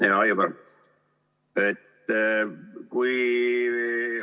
Hea Aivar!